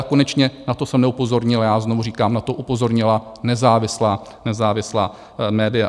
A konečně na to jsem neupozornil já, znovu říkám, na to upozornila nezávislá média.